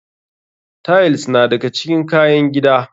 Tiles na daga cikin kayan gida.